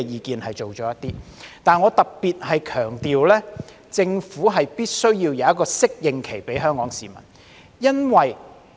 不過，我想特別強調，政府必須提供一個適應期給香港市民。